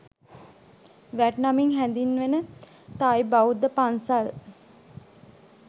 'VAT' නමින් හැඳින්වෙන Thai බෞද්ධ පන්සල්